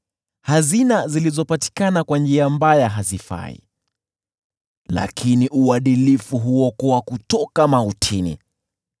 Hazina zilizopatikana kwa njia mbaya hazifai, lakini uadilifu huokoa kutoka mautini.